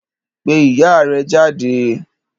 Pe iya rẹ jáde